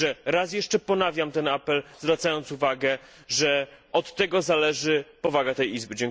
Raz jeszcze ponawiam apel, zwracając uwagę, że od tego zależy powaga tej Izby.